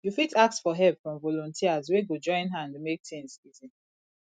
you fit ask for help from volunteers wey go join hand make things easy